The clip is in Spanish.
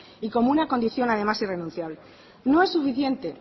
y como una condición además irrenunciable no es suficiente